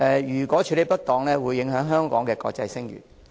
如果處理不當，會影響香港的國際聲譽。